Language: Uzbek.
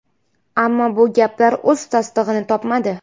Ammo bu gaplar o‘z tasdig‘ini topmadi.